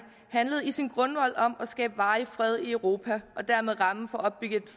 handlede i sin grundvold om at skabe varig fred i europa og dermed rammen for